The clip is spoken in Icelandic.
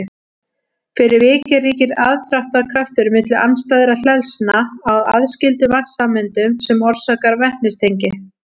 fyrir vikið ríkir aðdráttarkraftur milli andstæðra hleðslna á aðskildum vatnssameindum sem orsakar vetnistengi